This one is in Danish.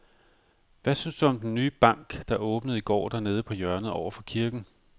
Hvad synes du om den nye bank, der åbnede i går dernede på hjørnet over for kirken?